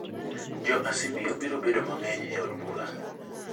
Jo Asmio biro bedo mang'eny e od bura